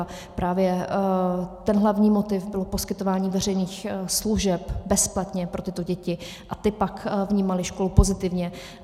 A právě ten hlavní motiv bylo poskytování veřejných služeb bezplatně pro tyto děti a ty pak vnímaly školu pozitivně.